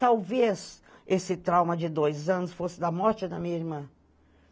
Talvez esse trauma de dois anos fosse da morte da minha irmã.